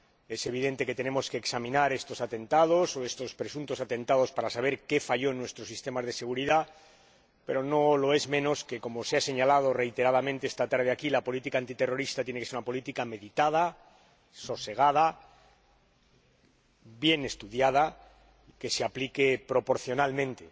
Es evidente que tenemos que examinar estos atentados o estos presuntos atentados para saber qué falló en nuestros sistemas de seguridad, pero no lo es menos que, como se ha señalado reiteradamente esta tarde aquí, la política antiterrorista tiene que ser una política meditada, sosegada, bien estudiada, que se aplique proporcionalmente.